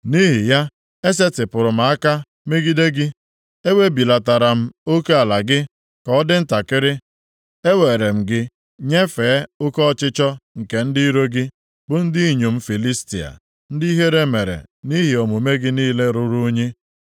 Nʼihi ya, esetipụrụ m aka megide gị, e webilatara m oke ala gị ka ọ dị ntakịrị; ewere m gị nyefee oke ọchịchọ nke ndị iro gị, bụ ndị inyom Filistia, ndị ihere mere nʼihi omume gị niile ruru unyi.